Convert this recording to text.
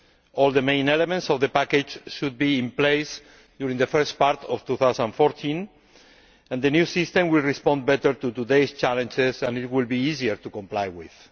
All the main elements of the package should be in place during the first part of 2014, and the new system will respond better to today's challenges and will be easier to comply with.